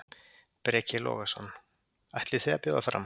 Breki Logason: Ætlið þið að bjóða fram?